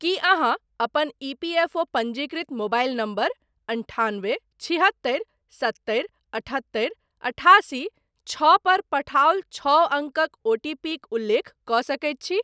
की अहाँ अपन इपीएफओ पञ्जीकृत मोबाइल नंबर' अन्ठान्बे छिहत्तरि सत्तरि अठत्तरि अठासी छओ पर पठाओल छओ अङ्कक ओटीपीक उल्लेख कऽ सकैत छी ?